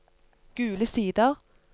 Gule Sider